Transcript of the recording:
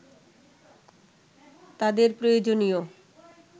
তাদের প্রয়োজনীয়